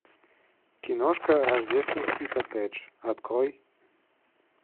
киношка рождественский коттедж открой